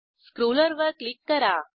स्क्रोलवर click करा